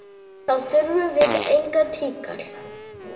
Þá þurfum við engan tíkall!